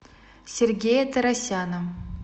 сергея торосяна